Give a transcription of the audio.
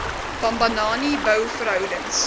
bambanani bou verhoudings